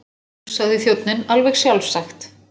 Jú, sagði þjónninn, alveg sjálfsagt.